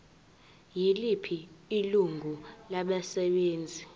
yiliphi ilungu labasebenzi